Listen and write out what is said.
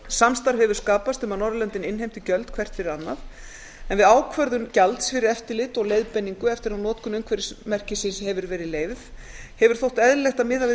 samstarf hefur skapast um að norðurlöndin innheimti gjöld hvert fyrir annað en við ákvörðun gjalds fyrir eftirlit og leiðbeiningu eftir að notkun umhverfismerkisins hefur verið leyfð hefur þótt eðlilegt að miða við